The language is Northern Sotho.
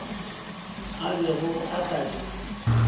a bego a sa di